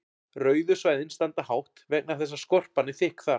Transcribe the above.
rauðu svæðin standa hátt vegna þess að skorpan er þykk þar